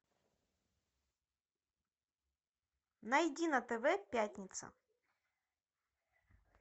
найди на тв пятница